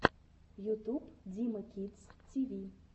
ютуб дима кидс ти ви